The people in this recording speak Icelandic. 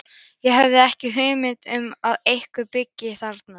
Ég hafði ekki hugmynd um að einhver byggi þarna.